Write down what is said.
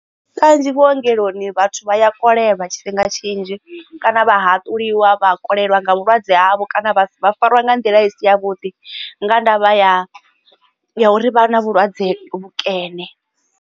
Kanzhi vhuongeloni vhathu vha ya kolelwa tshifhinga tshinzhi kana vha haṱuliwa vha kolelwa nga vhulwadze havho kana vha fariwa nga nḓila isi ya vhuḓi nga ndavha ya uri vha na vhulwadze vhukene.